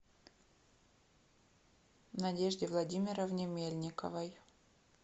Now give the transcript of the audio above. надежде владимировне мельниковой